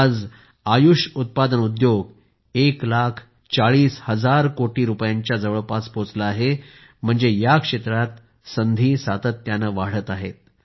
आज आयुष उत्पादन उद्योग एक लाख चाळीस हजार कोटी रुपयांच्या जवळपास पोचला आहे म्हणजे या क्षेत्रात संधी सातत्याने वाढत आहेत